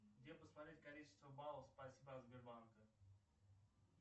где посмотреть количество баллов спасибо от сбербанка